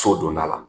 So don da la